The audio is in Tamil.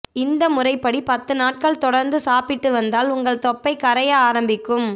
இந்த முறைப்படி பத்து நாட்கள் தொடர்ந்து சாப்பிட்டு வந்தால் உங்கள் தொப்பை கரைய ஆரம்பிக்கும்